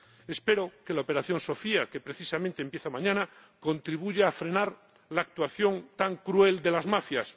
Espero que la operación Sophia, que precisamente empieza mañana, contribuya a frenar la actuación tan cruel de las mafias.